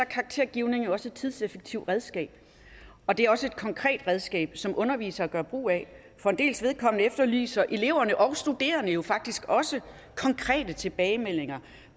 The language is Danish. karaktergivning jo også et tidseffektivt redskab og det er også et konkret redskab som undervisere gør brug af for en dels vedkommende efterlyser eleverne og de studerende jo faktisk også konkrete tilbagemeldinger